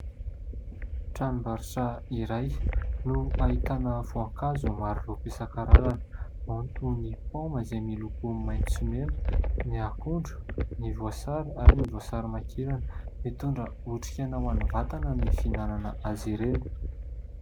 Tranom-barotra iray no ahitana voankazo maro loko isan-karazany ao ny toy ny paoma izay miloko maitso sy mena, ny akondro, ny voasary ary ny voasarimakirana, mitondra otrik'aina ho an'ny vatana ny fihinanana azy ireny.